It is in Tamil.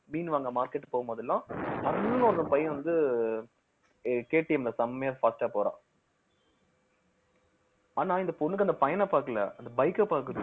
மீன் வாங்க market போகும்போதெல்லாம் ஒரு பையன் வந்து KTM ல செமையா fast ஆ போறான் ஆனா இந்த பொண்ணுக்கு அந்த பையனை பார்க்கல அந்த bike அ பார்க்குது